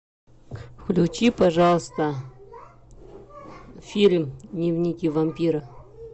включи пожалуйста фильм дневники вампира